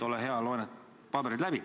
Ole hea, loe need paberid läbi.